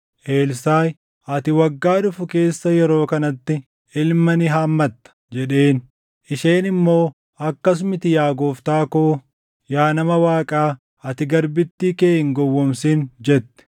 Elsaaʼi, “Ati waggaa dhufu keessa yeroo kanatti ilma ni hammatta” jedheen. Isheen immoo, “Akkas miti yaa gooftaa koo; yaa nama Waaqaa, ati garbittii kee hin gowwoomsin!” jette.